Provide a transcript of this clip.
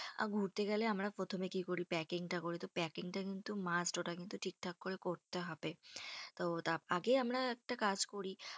ঘুরতে গেলে আমরা প্রথমে কি করি, packing টা করি, তো packing টা কিন্তু must ওটা কিন্তু ঠিকঠাক করে করতে হবে। তো আগে আমরা একটা কাজ করি